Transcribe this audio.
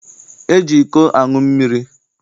E ji iko aṅụ mmiri.